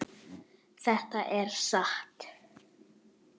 Þetta er satt!